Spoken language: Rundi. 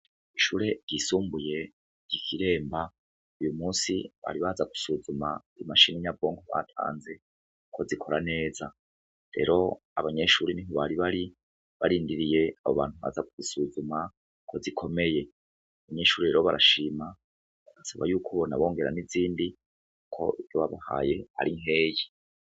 Ishure ry'isumbuye gikiremba uyu munsi bari baza gusuzuma i mashini nya bonko batanze ko zikora neza. Rero abanyeshuri nibo bari bari barindiriye abo bantu baza usuzuma ko zikomeye. Abanyeshuri rero barashima saba y'uko bona bongera n'izindi ko byo babahaye ari nkeyi.